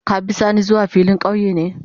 Ka be sani zuwa filin kauye ne?